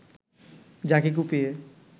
যাকে কুপিয়ে